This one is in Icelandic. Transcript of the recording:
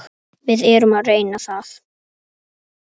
Við erum að reyna það.